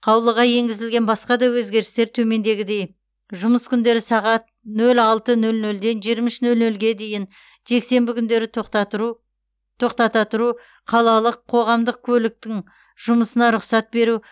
қаулыға енгізілген басқа да өзгерістер төмендегідей жұмыс күндері сағат нөл алты нөл нөлден жиырма үш нөл нөлге дейін жексенбі күндері тоқтата тұру қалалық қоғамдық көліктің жұмысына рұқсат беру